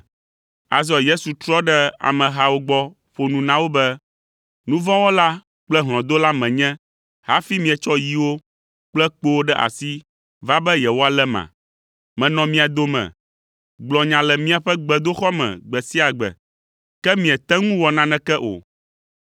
Azɔ Yesu trɔ ɖe amehawo gbɔ ƒo nu na wo be, “Nu vɔ̃ wɔla kple hlɔ̃dola menye hafi mietsɔ yiwo kple kpowo ɖe asi va be yewoaléma? Menɔ mia dome, gblɔ nya le miaƒe gbedoxɔ me gbe sia gbe, ke miete ŋu wɔ naneke o.